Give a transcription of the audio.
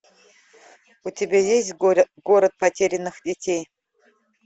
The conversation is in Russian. у тебя есть город потерянных детей